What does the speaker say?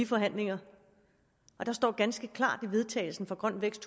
forhandlingerne og der står ganske klart i vedtagelsen fra grøn vækst